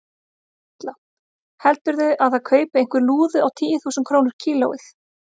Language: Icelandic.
Erla: Heldurðu að það kaupi einhver lúðu á tíu þúsund krónur kílóið?